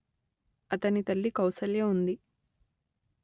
అతని తల్లి కౌసల్య ఉంది